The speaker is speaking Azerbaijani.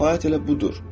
Səfaət elə budur.